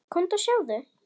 Komdu og sjáðu!